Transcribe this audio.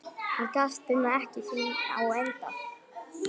Er ganga þín á enda?